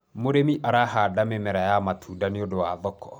mũrĩmi arahanda mĩmera ya matunda nĩũndũ wa thoko